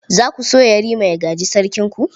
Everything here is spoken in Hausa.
Za ku so Yarima ua gaji Sarkinku?